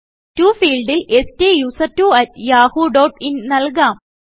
Toഫീൾഡിൽ സ്റ്റുസെർട്ട്വോ at Yahoo dot in നല്കാം